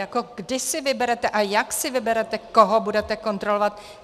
Jako kdy si vyberete a jak si vyberete, koho budete kontrolovat?